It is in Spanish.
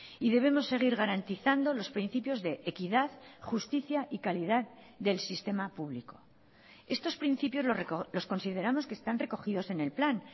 y debemos seguir garantizando los principios de equidad justicia y calidad del sistema público estos principios los consideramos que están recogidos en el plan